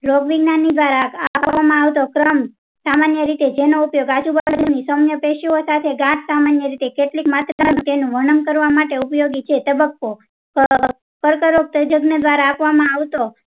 રોગ વિજ્ઞાયન દ્વારા આપવામાં આવતો ક્રમ સામાન્ય રીતે જેનો ઉપયોગ વર્ગ ની સમય પેષયો સાથે ગાંઠ સામાન્ય રીતે કેટલીક. તેનો વર્ણન કરવા માટે ઉપયોગી છે તબક્કો. કર્ક રોગ દ્વારા આપવામાં આવતો